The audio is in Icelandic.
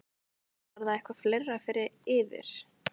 Var það eitthvað fleira fyrir yður?